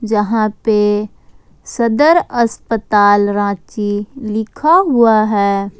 जहां पर सदर अस्पताल रांची लिखा हुआ है।